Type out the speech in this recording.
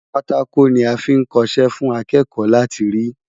Pátákò ni a fí ń kọṣẹ́ fún akẹ́kọ̀ọ́ láti rí.